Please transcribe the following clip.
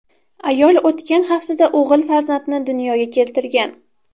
Ayol o‘tgan haftada o‘g‘il farzandni dunyoga keltirgan.